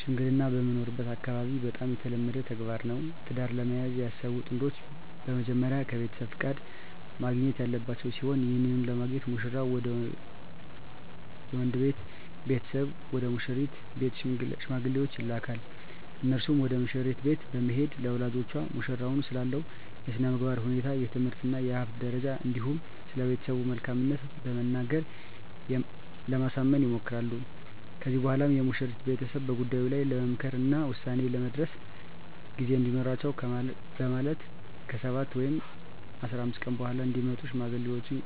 ሽምግልና በምኖርበት አካባቢ በጣም የተለመደ ተግባር ነው። ትዳር ለመያዝ ያሰቡ ጥንዶች በመጀመሪያ ከቤተሰብ ፍቃድ ማግኘት ያለባቸው ሲሆን ይህንንም ለማግኘት ሙሽራው ወይም የወንድ ቤተሰብ ወደ ሙሽሪት ቤት ሽማግሌዎችን ይልካል። እነርሱም ወደ መሽሪት ቤት በመሄድ ለወላጆቿ ሙሽራው ስላለው የስነምግባር ሁኔታ፣ የትምህርት እና የሀብት ደረጃ እንዲሁም ስለቤተሰቡ መልካምት በመናገር ለማሳመን ይሞክራሉ። ከዚህም በኋላ የሙሽሪት ቤተሰብ በጉዳዩ ላይ ለመምከር እና ውሳኔ ላይ ለመድረስ ጊዜ እንዲኖራቸው በማለት ከ7 ወይም 15 ቀን በኃላ እንዲመጡ ሽማግሌዎቹን